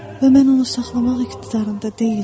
Və mən onu saxlamaq iqtidarında deyiləm.